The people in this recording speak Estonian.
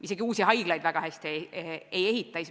Isegi uusi haiglaid väga kiiresti ei ehita.